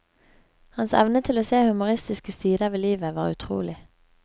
Hans evne til å se humoristiske sider ved livet var utrolig.